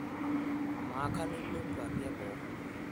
Amaa, kanu ilo nkuapi e boo?